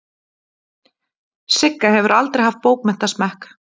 Sigga hefur aldrei haft bókmenntasmekk.